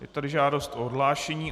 Je tady žádost o odhlášení.